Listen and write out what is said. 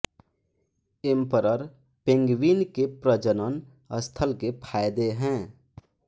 emperor penguin के प्रजनन स्थल के फ़ायदे हैं